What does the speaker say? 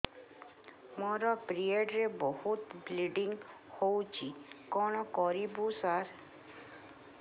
ମୋର ପିରିଅଡ଼ ରେ ବହୁତ ବ୍ଲିଡ଼ିଙ୍ଗ ହଉଚି କଣ କରିବୁ ସାର